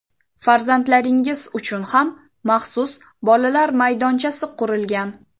Farzandlaringiz uchun ham maxsus bolalar maydonchasi qurilgan.